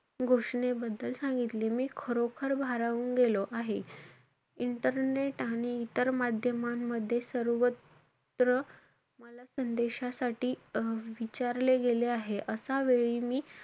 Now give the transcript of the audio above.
घोषनेबद्दल सांगितले. मी खरोखर भारावून गेलो आहे. Internet आणि इतर माध्यमांमध्ये सर्वत्र मला संदेशासाठी अं विचारले गेले आहे. अशा वेळी मी,